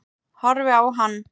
Horfi á hann.